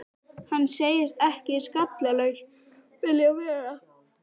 Hann segist ekki skallalaus vilja vera.